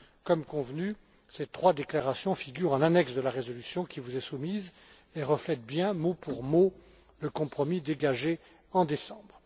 Comme convenu, ces trois déclarations figurent en annexe de la résolution qui vous est soumise et reflètent bien, mot pour mot, le compromis dégagé en décembre.